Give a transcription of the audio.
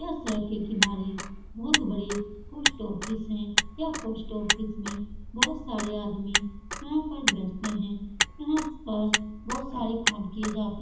यह सड़क के किनारे बहोत बड़े पोस्ट ऑफिस है। यह पोस्ट ऑफिस में बोहत सारे आदमी यहाँ पर बैठते है यहाँ पर बहोत सारे काम किये जाते --